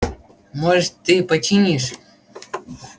может ты починишь